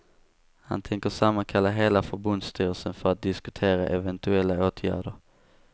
Han tänker sammankalla hela förbundsstyrelsen för att diskutera eventuella åtgärder.